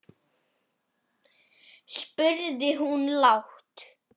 spurði hún lágt.